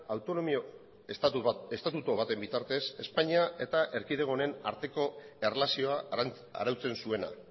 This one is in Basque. autonomi estatutu baten bitartez espainia eta erkidego honen arteko erlazioa arautzen zuena